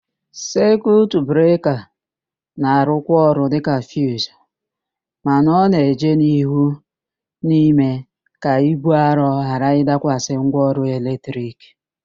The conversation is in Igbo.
Sekiut breka na-arụkwa ọrụ dịka fiuzu mana ọ na-eje n'ihu na-ịme ka íbú arọ ghara ịdakwasị ngwaọrụ eletrik.